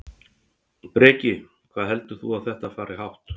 Breki: Hvað heldur þú að þetta fari hátt?